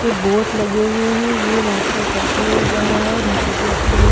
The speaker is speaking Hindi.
ये बोट लगे हुए हैं ये रास्ता ऊपर की ओर जा रहा है नीचे भी लग्त है।